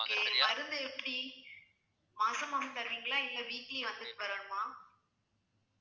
okay மருந்து எப்படி மாசம் மாசம் தருவீங்களா இல்லை weekly வந்துட்டு வரணுமா